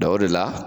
o de la